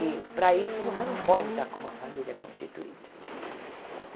E, para isso, você não pode estar com uma família constituída.